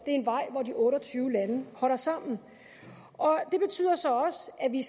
en vej hvor de otte og tyve lande holder sammen det betyder så også at vi